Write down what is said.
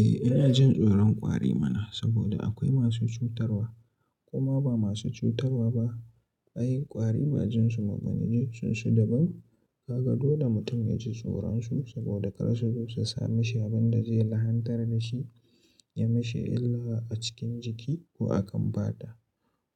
Eh ina jin tsoron ƙwari mana, saboda akwai masu cutarwa koma ba masu cutarwa ba. Ai ƙwari ba jin su mabani ji sun su daban. Kaga dole mutum ya ji tsoron su saboda kar su zo su sa mishi abin da zai lahantar da shi ya mishi illa a cikin jiki ko akan fata.